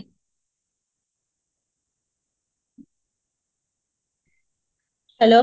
hello